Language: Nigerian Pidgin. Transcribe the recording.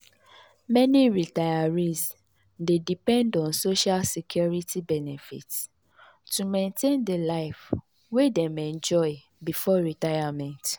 meni retirees dey depend on social security benefits to maintain di life wey dem enjoy before retirement.